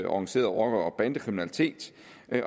organiseret rocker og bandekriminalitet